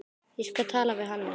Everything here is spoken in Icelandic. Ég skal tala við Hannes.